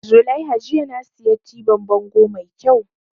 Zulaiha jiya na siya tibin bango mai kyau